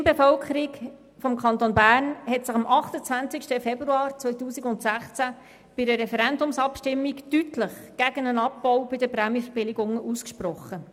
Die Stimmbevölkerung des Kantons Bern hat sich am 28. 02. 2016 bei einer Referendumsabstimmung deutlich gegen den Abbau bei den Prämienverbilligungen ausgesprochen.